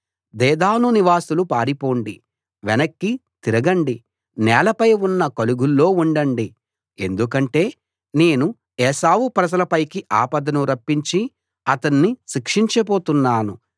Dedan నివాసులు పారిపోండి వెనక్కి తిరగండి నేలపై ఉన్న కలుగుల్లో ఉండండి ఎందుకంటే నేను ఏశావు ప్రజల పైకి ఆపదను రప్పించి అతణ్ణి శిక్షించబోతున్నాను